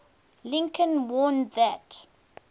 lincoln warned that